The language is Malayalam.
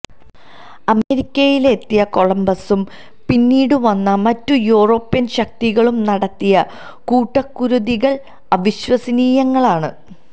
അമേരിക്കയിലെത്തിയ കൊളംബസ്സും പിന്നീട് വന്ന മറ്റു യൂറോപ്യൻ ശക്തികളും നടത്തിയ കൂട്ടകുരുതികൾ അവിശ്വസനീയങ്ങളാണ്